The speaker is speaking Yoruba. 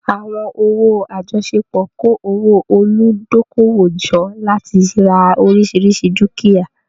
Àwọn owó àjọṣepọ̀ kó owó olùdókòwò jọ láti ra oríṣiríṣi dúkìá.